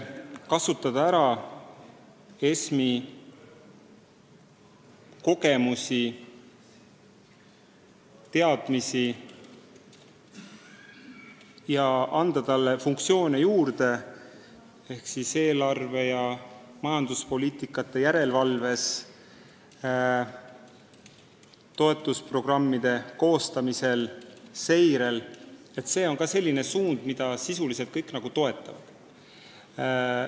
Kasutada ära ESM-iga seotud kogemusi-teadmisi ja anda ESM-ile funktsioone juurde eelarvete ja majanduspoliitikate järelevalves, toetusprogrammide koostamisel ja seirel – seda suunda sisuliselt kõik toetavad.